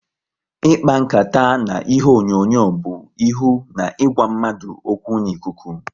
Ịkpa nkata na ihe onyonyo bụ ihu na ịgwa mmadụ okwu n'ikuku